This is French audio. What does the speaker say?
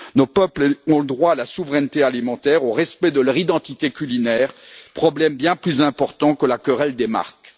Nos peuples ont le droit à la souveraineté alimentaire et au respect de leur identité culinaire, qui sont des problèmes bien plus importants que la querelle des marques.